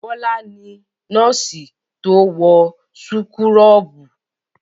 Bọ́lá ni nọ́ọ́sì tó wọ súkúrọ́bù.